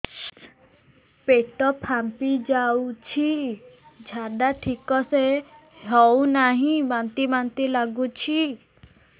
ପେଟ ଫାମ୍ପି ଯାଉଛି ଝାଡା ଠିକ ସେ ହଉନାହିଁ ବାନ୍ତି ବାନ୍ତି ଲଗୁଛି